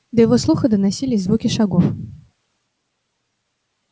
до его слуха доносились звуки шагов